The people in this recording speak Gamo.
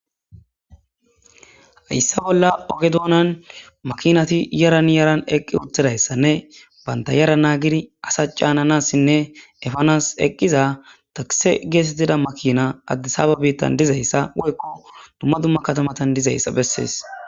Hayssa bolla oge doonan makinati yaraniyaran eqqi uttidayssanne banta yara naagiri asa caananassinne efanas eqqiza takise geesetida makina addisababettan dizayssa woykko dumma dumma katamatan dizayssa bessees.